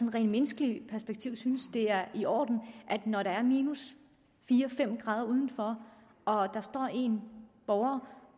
rent menneskeligt perspektiv synes er i orden at når der er minus fire fem grader udenfor og der står en borger